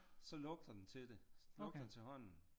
Så lugter den til det lugter til hånden